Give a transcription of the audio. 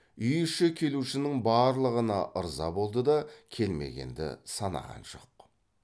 үй іші келушінің барлығына ырза болды да келмегенді санаған жоқ